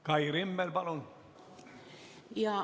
Kai Rimmel, palun!